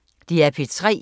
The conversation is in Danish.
DR P3